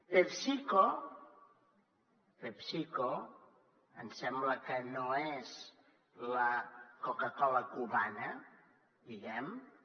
pepsico ens sembla que no és la coca cola cubana diguem ne